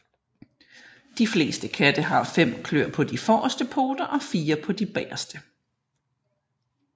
De fleste katte har fem klør på de forreste poter og fire på de bagerste